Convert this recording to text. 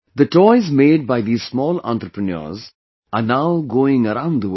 The toys made by these small entrepreneurs are now going around the world